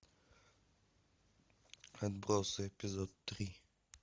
отбросы эпизод три